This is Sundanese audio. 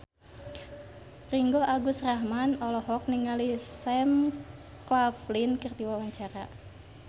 Ringgo Agus Rahman olohok ningali Sam Claflin keur diwawancara